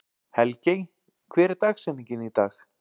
Helgey, hver er dagsetningin í dag?